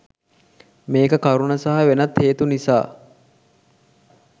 මේ කරුණ සහ වෙනත් හේතු නිසා